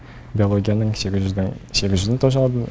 биологияның сегіз жүздің сегіз жүзін тоже алдым